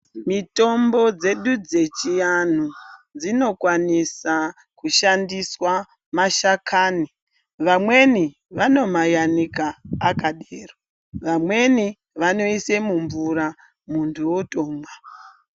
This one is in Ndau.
Mitombo dzedu dzechianhu dzinokwanisa kushandiswa mashakani vamweni vanomayanike akadero vamweni vanoise mumvura muntu otomwa